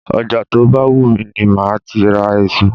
Ọjà tó bá wù mí ni máa ti ra èso.